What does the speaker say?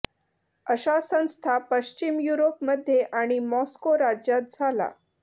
अशा संस्था पश्चिम युरोप मध्ये आणि मॉस्को राज्यात झाला